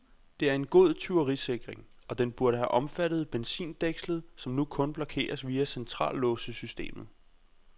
Det er en god tyverisikring, og den burde have omfattet benzindækslet, som nu kun blokeres via centrallåssystemet.